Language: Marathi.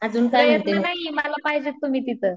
प्रयत्न नाही मला पाहिजेत तुम्ही तिथं.